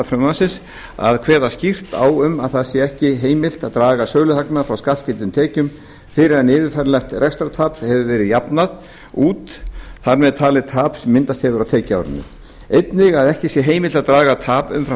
frumvarpsins að kveða skýrt á um það að ekki sé heimilt að draga söluhagnað frá skattskyldum tekjum fyrr en yfirfæranlegt rekstrartap hefur verið jafnað út þar með talin tap sem myndast hefur á tekjuárinu einnig að ekki sé heimilt að draga tap umfram